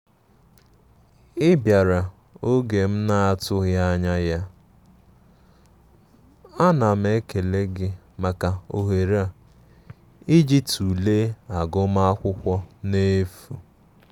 Ị biara oge m na atughi anya ya, anam ekele gi maka ohere a ịjị tụle agum akwụkwo n'efu